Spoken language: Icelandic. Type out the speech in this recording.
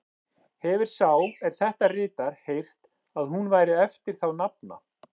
Hefir sá, er þetta ritar, heyrt, að hún væri eftir þá nafna